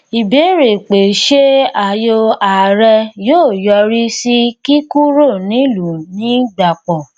ìbéèrè pé ṣé ayò ààrẹ yóò yọrí sí kíkúrò nílùú ní gbàpọ